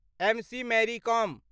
MC Mary com